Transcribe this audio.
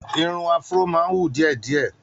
Irun afro máa ń hù díẹ̀ díẹ̀.